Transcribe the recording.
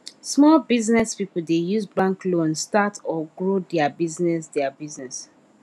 small business people dey use bank loan start or grow their business their business